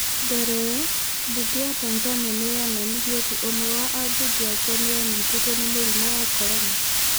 Mbere ĩyo, Bunge ya Tanzania nĩ yonanirie atĩ ũmwe wa ambunge ake nĩ anyitĩtwo nĩ mũrimũ wa corona.